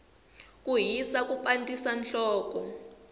ku hisa ku pandzisa nhloko